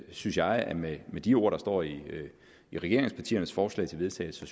synes jeg at med de ord der står i regeringspartiernes forslag til vedtagelse